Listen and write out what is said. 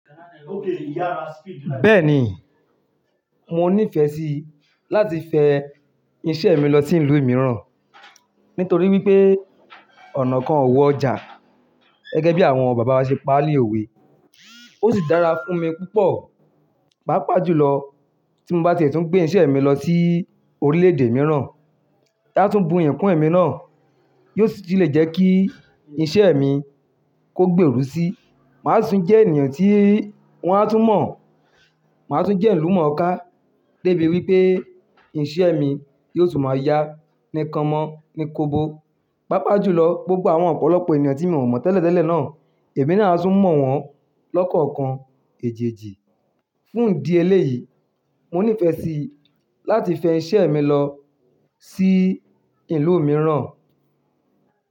Bẹ́ẹ̀ni, mo nífẹ̀ẹ́ sí láti fẹ iṣẹ́ mi lọ sí ìlú mìíràn, nítorí wípé ọ̀nà kan ò wọjà gẹ́gẹ́ bí àwọn bàbá wa ṣe paá lì òwe. Ó sì dára fún mi púpọ̀, pàápàá jùlọ tí mo bá ti è tún gbé iṣẹ́ mi lọ sí orílẹ̀-èdè mìíràn. Eyi á túń buyi kún ẹ̀mí náà, yóò sì tun lè jẹ́ kí iṣẹ́ mi kó gbéeru sí. Màá si tún jẹ́ ènìyàn tí wọ́n á tún mọ̀, màá tún jẹ́ ilumooká, débi wípé iṣẹ́ mi yóò tún máa yá ní kan mọ́ ní kobo. Pàápàá jùlọ, gbogbo àwọn ọ̀pọ̀lọpọ̀ ènìyàn tí mi o mọ̀ tẹ́lẹ̀ tẹ́lẹ̀ náà, èmi náà á tún mọ̀ wọ́n lọ́kọ̀ọ̀kan èjeejí. Fún ìdí eléyìí, mo nífẹ̀ẹ́ sí láti fẹ iṣẹ́ mi lọ sí ìlú mìíràn.